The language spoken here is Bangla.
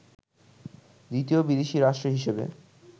দ্বিতীয় বিদেশি রাষ্ট্র হিসেবে